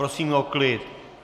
Prosím o klid!